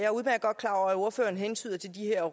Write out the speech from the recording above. ordføreren hentydede til de her